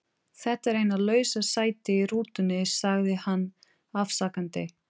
Þetta er eina lausa sætið í rútunni sagði hann afsakandi.